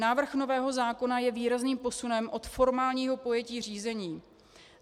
Návrh nového zákona je výrazným posunem od formálního pojetí řízení.